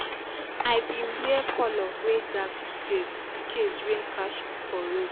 i bin wear colour wey dark today in case rain catch me for road